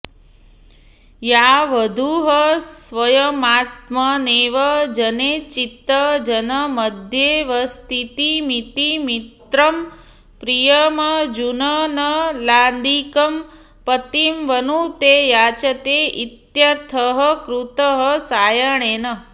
या वधूः स्वयमात्मनैव जनेचित् जनमध्येऽवस्थितिमिति मित्रं प्रियमर्जुननलादिकं पतिं वनुते याचते इत्यर्थः कृतः सायणेन